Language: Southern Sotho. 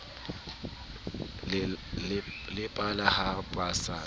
le pala ha ba se